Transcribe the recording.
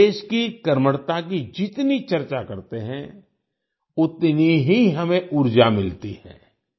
हम देश की कर्मठता की जितनी चर्चा करते हैं उतनी ही हमें ऊर्जा मिलती है